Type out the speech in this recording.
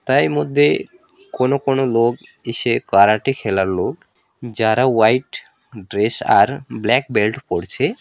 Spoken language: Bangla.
তাই মধ্যে কোন কোন লোক ইসে কারাটে খেলার লোক যারা ওয়াইট ড্রেস আর ব্ল্যাক বেল্ট পড়ছে।